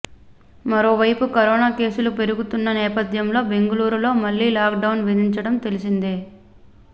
మరోవైపు కరోనా కేసులు పెరుగుతున్న నేపథ్యంలో బెంగళూరులో మళ్లీ లాక్డౌన్ విధించడం తెలిసిందే